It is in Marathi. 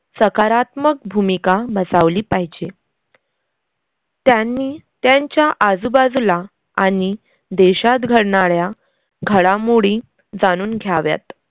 सकारात्मक भूमिका बसावली पाहिजे. त्यांनी त्यांच्या आजूबाजूला आनि देशात घडणाऱ्या घडामोडी जानुन घ्याव्यात.